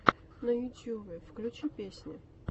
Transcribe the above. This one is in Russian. на ютюбе включи песни